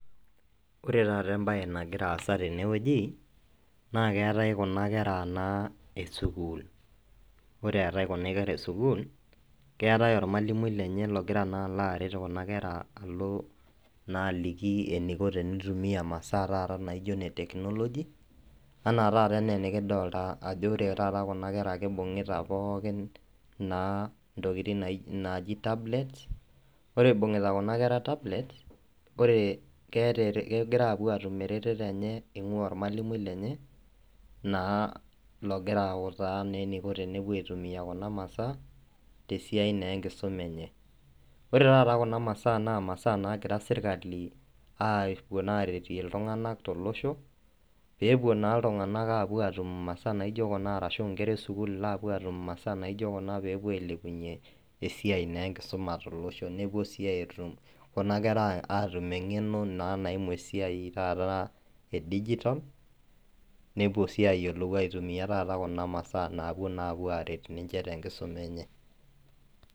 ore taata ebaye nagira asa teneweji, naa keetae kuna kera naa esukul ore etae kuna kera esukul keetae olmalimui lenye ogira naa alo aret naa aliki eniko tenitumiya imasaa naa taata etekinoloji, naa ore enaa enikidolta kuna kera kibungita pooki tablets, ore ibung'ita kunakera tablets, kegira apuo atum eretoto enye olmalimui lenye naa logira autaa eniko tenepuo aitumiya kuna masaa tesiai naa enkisuma enye ore taata kuna masaa naa imasaa naagira sirkali apuo aretie iltung'anak ,tolosho pee epuo naa iltunganak ashu inkera esukul aatum imaasaa naijio kuna pee epuo ailepunye esiai enkisuma tolosho kuna kera atum eng'eno edigitol nepuo sii ayiolou atimuya kuna maasaa naret tengisuma enye.